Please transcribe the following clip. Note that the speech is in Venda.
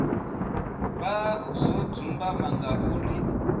vha zwo dzumbama nga uri